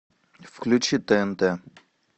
включи тнт